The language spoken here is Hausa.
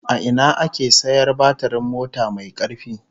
A ina ake sayar batirin mota mai karfi?